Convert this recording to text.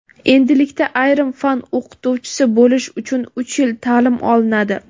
Endilikda ayrim fan o‘qituvchisi bo‘lish uchun uch yil taʼlim olinadi.